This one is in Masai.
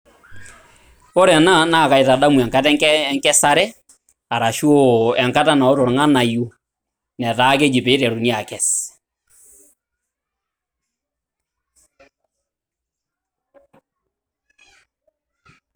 Ore ena naa kaitadamu enkata enkesare arashu enkata naoto irng'anayio netaa keji pee iteruni akes.